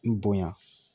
N bonya